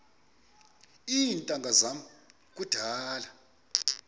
iintanga zam kudala